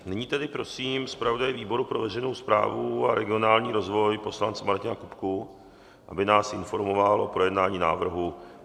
Nyní tedy prosím zpravodaje výboru pro veřejnou správu a regionální rozvoj, poslance Martina Kupku, aby nás informoval o projednání návrhu.